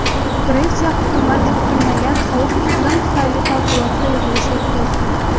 Gretsiya hukumati kutilmagan sovuq iqlim tufayli favqulodda yig‘ilish o‘tkazgan.